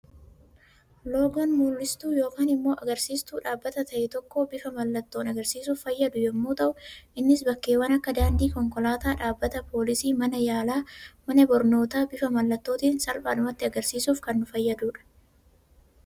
Loogoon mul'istuu yookaan immoo agarsiistu dhaabbata ta'e tokko bifa mallattoon argisiisuuf fayyadu yemmuu ta'u, innis bakkeewwan akka daandii konkolaataa, dhaabbata poolisii, mana yaalaa, mana barnootaa bifa mallattootiin salphaadhumatti argisiisuuf kan nu fayyadudha.